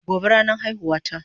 Gobe ne ranan aihuwan ta